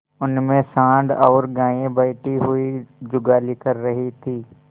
उनमें सॉँड़ और गायें बैठी हुई जुगाली कर रही थी